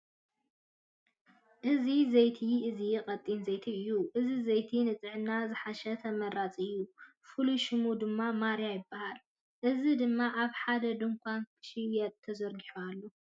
እዚ ዘይቲ እዚ ቀጢን ዘይቲ እዩ። እዚ ዘይቲ ንጥዕናና ዝሓሸ ተመራፂ እዩ። ፍሉይ ሽሙ ድማ ማርያ ይባሃል። እዚ ድማ ኣብ ሓደ ድንኳን ንክሽየጥ ተዘርጉሑ ኣሎ።